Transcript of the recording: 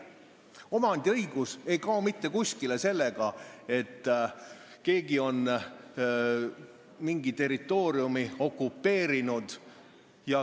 Omandiõigus ei kao kuskile sellega, et keegi on mingi territooriumi okupeerinud.